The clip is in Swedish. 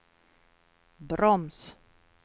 broms